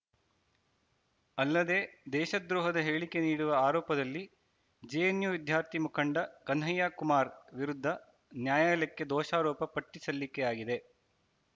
ಅಲ್ಲದೆ ದೇಶದ್ರೋಹದ ಹೇಳಿಕೆ ನೀಡಿರುವ ಆರೋಪದಲ್ಲಿ ಜೆಎನ್‌ಯು ವಿದ್ಯಾರ್ಥಿ ಮುಖಂಡ ಕನ್ಹಯ್ಯ ಕುಮಾರ್‌ ವಿರುದ್ಧ ನ್ಯಾಯಾಲಯಕ್ಕೆ ದೋಷಾರೋಪ ಪಟ್ಟಿಸಲ್ಲಿಕೆಯಾಗಿದೆ